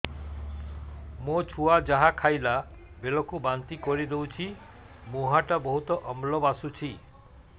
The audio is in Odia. ମୋ ଛୁଆ ଯାହା ଖାଇଲା ବେଳକୁ ବାନ୍ତି କରିଦଉଛି ମୁହଁ ଟା ବହୁତ ଅମ୍ଳ ବାସୁଛି